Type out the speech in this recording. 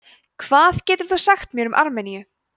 hvað getur þú sagt mér um armeníu